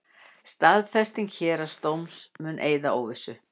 Staðfesting héraðsdóms mun eyða óvissu